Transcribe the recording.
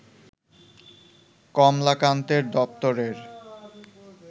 কমলাকান্তের দপ্তরের